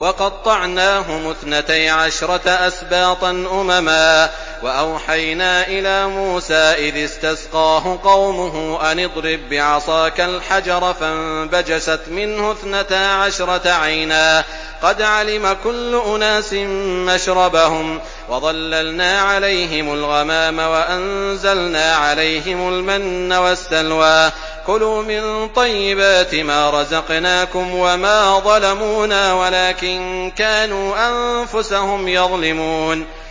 وَقَطَّعْنَاهُمُ اثْنَتَيْ عَشْرَةَ أَسْبَاطًا أُمَمًا ۚ وَأَوْحَيْنَا إِلَىٰ مُوسَىٰ إِذِ اسْتَسْقَاهُ قَوْمُهُ أَنِ اضْرِب بِّعَصَاكَ الْحَجَرَ ۖ فَانبَجَسَتْ مِنْهُ اثْنَتَا عَشْرَةَ عَيْنًا ۖ قَدْ عَلِمَ كُلُّ أُنَاسٍ مَّشْرَبَهُمْ ۚ وَظَلَّلْنَا عَلَيْهِمُ الْغَمَامَ وَأَنزَلْنَا عَلَيْهِمُ الْمَنَّ وَالسَّلْوَىٰ ۖ كُلُوا مِن طَيِّبَاتِ مَا رَزَقْنَاكُمْ ۚ وَمَا ظَلَمُونَا وَلَٰكِن كَانُوا أَنفُسَهُمْ يَظْلِمُونَ